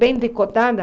Bem decotada.